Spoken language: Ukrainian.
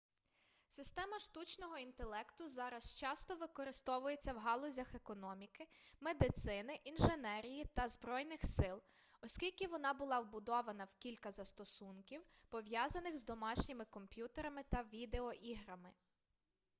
система штучного інтелекту зараз часто використовується в галузях економіки медицини інженерії та збройних сил оскільки вона була вбудована в кілька застосунків пов'язаних з домашніми комп'ютерами та відеоіграми